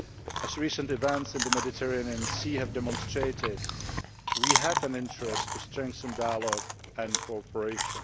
As recent events in the Mediterranean Sea have demonstrated, we have an interest in strengthening dialogue and cooperation.